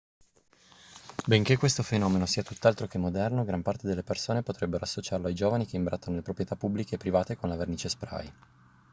benché questo fenomeno sia tutt'altro che moderno gran parte delle persone potrebbe associarlo ai giovani che imbrattano le proprietà pubbliche e private con la vernice spray